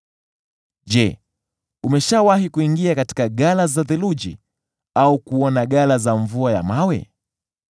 “Je, umeshawahi kuingia katika ghala za theluji, au kuona ghala za mvua ya mawe,